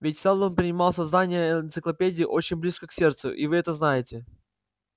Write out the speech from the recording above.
ведь сэлдон принимал создание энциклопедии очень близко к сердцу и вы это знаете